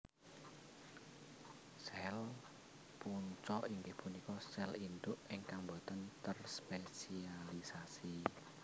Sèl Punca inggih punika sèl induk ingkang botèn terspesialisasi